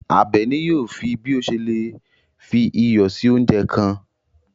Àbèní yóò fí bí o ṣè lè fí iyọ sí ọ̀unjẹ kan.